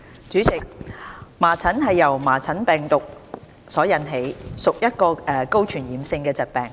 主席，麻疹由麻疹病毒所引起，屬一種高傳染性的疾病。